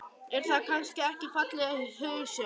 Er það kannski ekki falleg hugsjón?